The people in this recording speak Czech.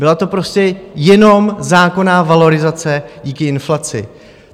Byla to prostě jenom zákonná valorizace díky inflaci.